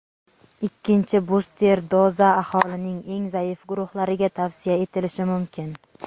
Ikkinchi buster doza aholining eng zaif guruhlariga tavsiya etilishi mumkin.